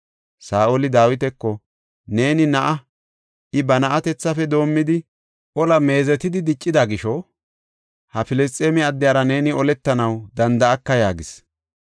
Saa7oli Dawitako, “Neeni na7a; I ba na7atethafe doomidi ola meezetidi diccida gisho, ha Filisxeeme addiyara neeni oletanaw danda7aka” yaagis.